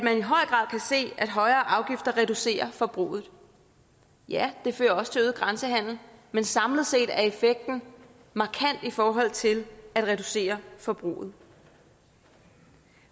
se at højere afgifter reducerer forbruget ja det fører også til øget grænsehandel men samlet set er effekten markant i forhold til at reducere forbruget